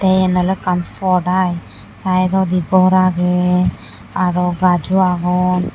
eyan olo ekan pod aai saidodi gor aagey aaro gajo agon.